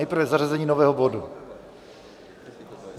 Nejprve zařazení nového bodu.